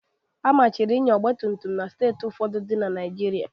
Amachiri ịnya ọgba tum tum na Steeti ụfọdụ dị na Naịjirịa